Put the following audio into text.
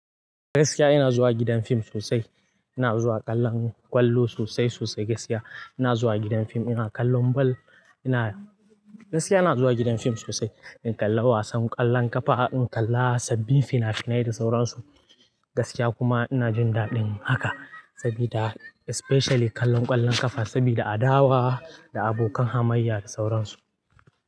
Gaskiya ina zuwa gidan fim sosai. Ina zuwa kallon ƙwallo sosai sosai gaskiya. Ina zuwa gidan fim ina kallon ball. Ina, gaskiya ina zuwa gidan fim sosai in kalla wasan ƙwallon ƙafa, in kalla sabbin fina-finai da sauransu. Gaskiya kuma ina jin daɗin haka sabida especially kallon ƙwallon ƙafa sabida adawa da abokan hamayya da sauransu.